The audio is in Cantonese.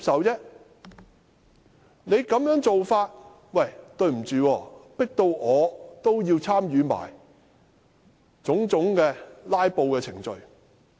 建制派這種做法，迫使我參與種種"拉布"程序。